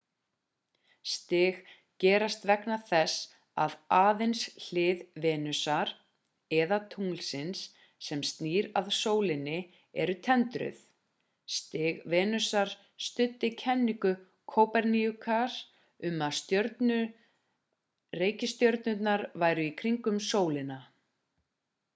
stig gerast vegna þess að aðeins hlið venusar eða tunglsins sem snýr að sólinni er tendruð. stig venusar studdi kenningu kóperníkusar um að reikistjörnurnar færu í kringum sólina